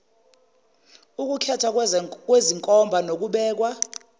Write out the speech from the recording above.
ukukhethwa kwezenkomba nokubekwa